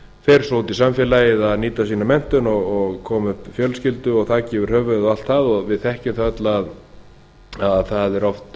fer svo út í samfélagið að nýta sína menntun og koma upp fjölskyldu og þaki yfir höfuðið og allt það við þekkjum það öll að þetta er